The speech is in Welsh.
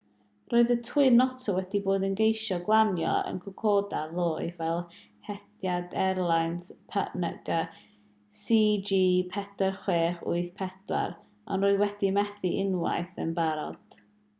roedd y twin otter wedi bod yn ceisio glanio yn kokoda ddoe fel hediad airlines png cg4684 ond roedd wedi methu unwaith yn barod